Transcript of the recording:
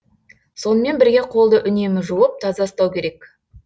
сонымен бірге қолды үнемі жуып таза ұстау керек